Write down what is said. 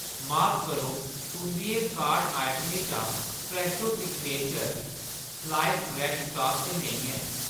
माफ करो, तुंʼदियें कार्ट आइटमें चा फ्रैशो सिग्नेचर स्लाइस ब्रैड्ड स्टाक च नेईं ऐ।